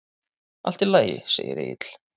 Allt í lagi, segir Egill.